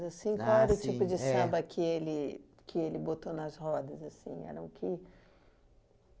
assim, qual era o tipo de samba que ele que ele botou nas rodas? Eram que